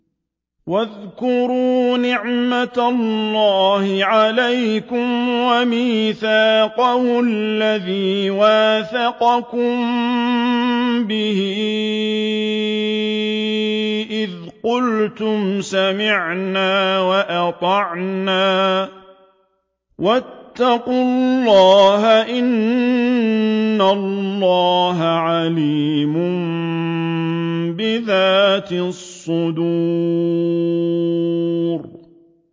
وَاذْكُرُوا نِعْمَةَ اللَّهِ عَلَيْكُمْ وَمِيثَاقَهُ الَّذِي وَاثَقَكُم بِهِ إِذْ قُلْتُمْ سَمِعْنَا وَأَطَعْنَا ۖ وَاتَّقُوا اللَّهَ ۚ إِنَّ اللَّهَ عَلِيمٌ بِذَاتِ الصُّدُورِ